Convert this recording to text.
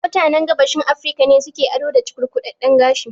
Mutanen Gabashin Afirika ne su ke ado da cukurkudadden gashi